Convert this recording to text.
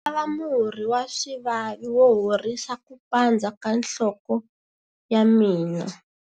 Ndzi lava murhi wa swivavi wo horisa ku pandza ka nhloko ya mina.